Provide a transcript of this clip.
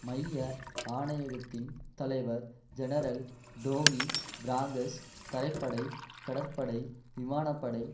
மைய ஆணையகத்தின் தலைவர் ஜெனரல் டோமி பிராங்கஸ் தரைப்படை கடற்படை விமான படை